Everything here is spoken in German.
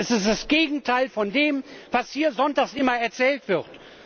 Es ist das Gegenteil von dem, was hier sonntags immer erzählt wird!